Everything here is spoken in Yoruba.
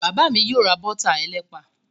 Bàbá mi yóò ra bọ́tà ẹlẹ́pà.